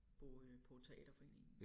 På øh på teaterforeningen